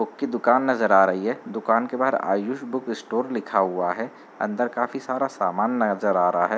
'' दुकान नजर आ रही हैं दुकान के बाहर आयुष बुक स्टोर लिखा हुआ हैं'''' अंदर काफी सारा सामान नजर आ रहा है |''